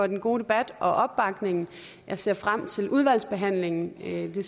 den gode debat og opbakningen jeg ser frem til udvalgsbehandlingen det